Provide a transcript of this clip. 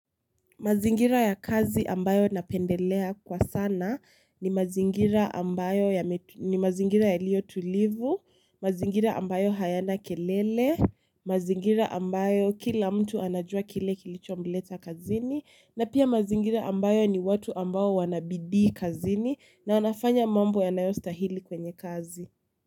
Mazingira ya kazi ambayo napendelea kwa sana ni mazingira ni mazingira yalio tulivu, mazingira ambayo hayana kelele, mazingira ambayo kila mtu anajua kile kilichomleta kazini, na pia mazingira ambayo ni watu ambao wana bidii kazini na wanafanya mambo yanayostahili kwenye kazi.